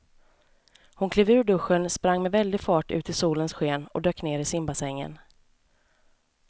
Hon klev ur duschen, sprang med väldig fart ut i solens sken och dök ner i simbassängen.